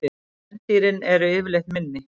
Kvendýrin eru yfirleitt minni.